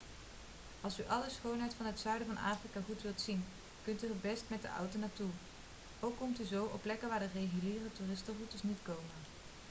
als u alle schoonheid van het zuiden van afrika goed wilt zien kunt u er het best met de auto naartoe ook komt u zo op plekken waar de reguliere toeristenroutes niet komen